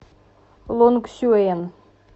лонгсюен